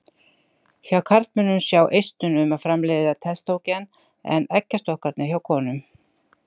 Hjá karlmönnum sjá eistun um að framleiða testósterón en eggjastokkarnir hjá konum.